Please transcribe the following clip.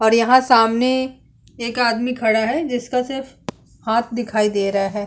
और यहाँ सामने एक आदमी खड़ा है जिसका सिर्फ हाथ दिखाई दे रहा है।